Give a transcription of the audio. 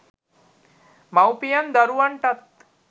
මවුපියන් දරුවන්ටත්